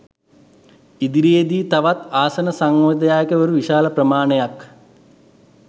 ඉදිරියේදී තවත් ආසන සංවිධායකවරු විශාල ප්‍රමාණයක්